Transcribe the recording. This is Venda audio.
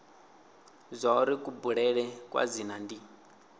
zwauri kubulele kwa dzina ndi